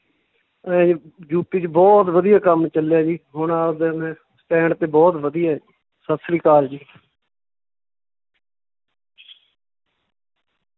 ਇਵੇਂ ਯੂਪੀ ਚ ਬਹੁਤ ਵਧੀਆ ਕੰਮ ਚੱਲਿਆ ਜੀ, ਹੁਣ ਆਵਦਾ ਮੈਂ stand ਤੇ ਬਹੁਤ ਵਧੀਆ ਸਤਿ ਸ੍ਰੀ ਅਕਾਲ ਜੀ।